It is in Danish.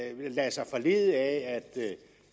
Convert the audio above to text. lader sig forlede af